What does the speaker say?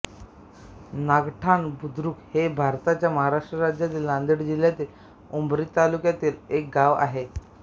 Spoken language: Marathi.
नागठाणा बुद्रुक हे भारताच्या महाराष्ट्र राज्यातील नांदेड जिल्ह्यातील उमरी तालुक्यातील एक गाव आहे